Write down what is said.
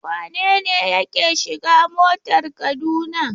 Wane ne yake shiga motar Kaduna?